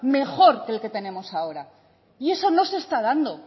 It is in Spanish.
mejor que lo que tenemos ahora y eso no se está dando